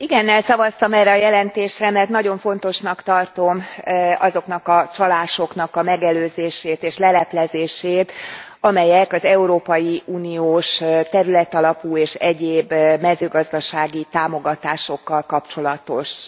Igennel szavaztam erre a jelentésre, mert nagyon fontosnak tartom azoknak a csalásoknak a megelőzését és leleplezését, amelyek az európai uniós területalapú és egyéb mezőgazdasági támogatásokkal kapcsolatosak.